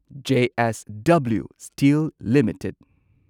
JSW Steel limited